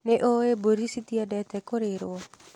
Nĩũĩ mburi citiendete kurĩrũo.